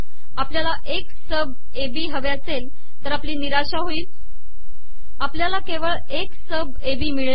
आपलयाला X sub A B हवे असेल तर आपली िनराशा होईल आपलयाला केवळ एकस सब ए बी िमळेल